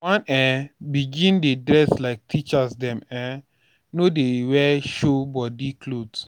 i wan um begin dey dress like teachers dem um no dey wear show bodi cloth.